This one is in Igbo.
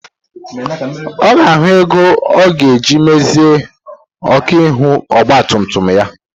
Ọ ga-ahụ ego ọ ga-eji mezie ọkụ ihu ọgba tum tum ya.